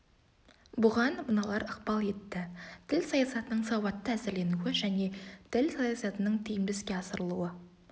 бұған мыналар ықпал етті тіл саясатының сауатты әзірленуі және тіл саясатының тиімді іске асырылуы